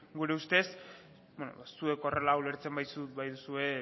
gure ustez eta zuek horrela ulertzen baituzue